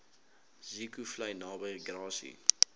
zeekoevlei naby grassy